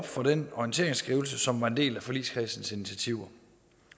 fra den orienteringsskrivelse som var en del af forligskredsens initiativer